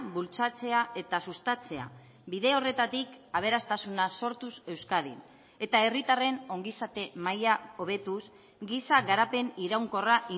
bultzatzea eta sustatzea bide horretatik aberastasuna sortuz euskadin eta herritarren ongizate maila hobetuz giza garapen iraunkorra